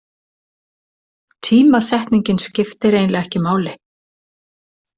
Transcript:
Tímasetningin skiptir eiginlega ekki máli.